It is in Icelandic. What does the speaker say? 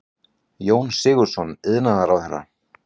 Jón Sigurðsson iðnaðarráðherra.